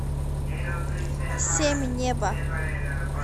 семь небо